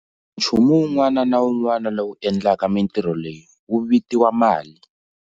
Nchumu wun'wana na un'wana lowu endlaka mintirho leyi wu vitiwa mali.